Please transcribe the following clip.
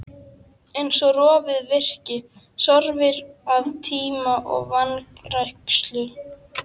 Eins og rofið virki, sorfið af tíma og vanrækslu.